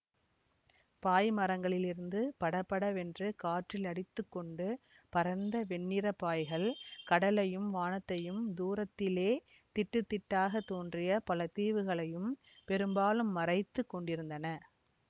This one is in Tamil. பாய்மரங்களிலிருந்து படபடவென்று காற்றில் அடித்துக்கொண்டு பறந்த வெண்ணிறப் பாய்கள் கடலையும் வானத்தையும் தூரத்திலே திட்டுத் திட்டாக தோன்றிய பல தீவுகளையும் பெரும்பாலும் மறைத்து கொண்டிருந்தன